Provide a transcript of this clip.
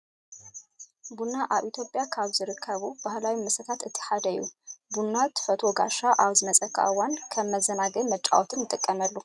ቡና ኣብ ኢትዮጵያ ካብ ዝርከቡ ባህላዊ መስተታት እቲ ሓደ እዩ። ቡና ተፈትዎ ጓሻ ኣብ ዝመፅኣካ እዋን ከም መዘናግዕን መጫወትን ንጥቀመሉ።